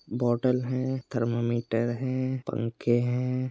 Bottle हैं thermometer हैं पंखे हैं।